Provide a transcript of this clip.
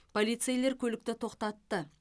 полицейлер көлікті тоқтатты